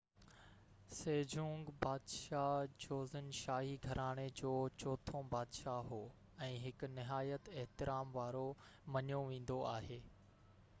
Sejong بادشاه Joseon شاهي گهراڻي جو چوٿون بادشاه هو ۽ هڪ نهيات احترام وارو مڃيو ويندو آهي